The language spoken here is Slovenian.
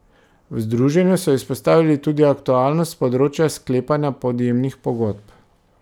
V združenju so izpostavili tudi aktualnost področja sklepanja podjemnih pogodb.